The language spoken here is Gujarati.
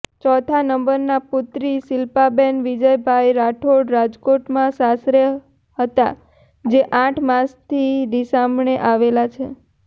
ચૌથા નંબરના પુત્રી શિલ્પાબેન વિજયભાઈ રાઠોડ રાજકોટમાં સાસરે હતા જે આઠ માસથી રીસામણે આવેલા છે